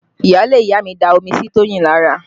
Iyaale ìyá mi da omi sí Toyin lára